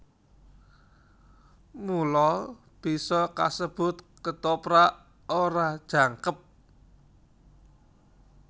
Mula bisa kasebut Kethoprak ora jangkep